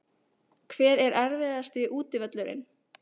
Hver er erfiðasti útivöllurinn?